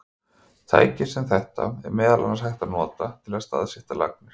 Tæki sem þetta er meðal annars hægt að nota til að staðsetja lagnir.